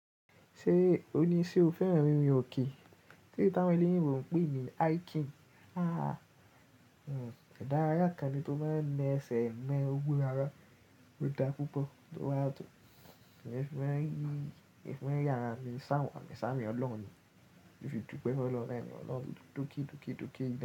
Ṣé o ní ṣe o fẹ́ràn rírin òkè, eleyi ti awon oloyinbo pe ní hiking. Òun idárayà kan ni tó máa ń mọ ẹsẹ̀ ń lọ gbó ara, ó dára púpọ̀ tó wà tò. Èmi fẹ́ràn yí, èmi fẹ́ràn yàrá mi ṣáwọ̀n ni sá mi ọlọ́run ni, bí fi dùn pẹ́, ó lọ láìní ọlọ́run tó kí tó kí tó kí dá.